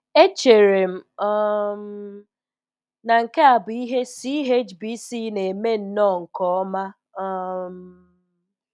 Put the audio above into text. Echere m um na nke a bụ ihe CHBC na-eme ńnọọ nke ọma. um